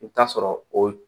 I bɛ t'a sɔrɔ o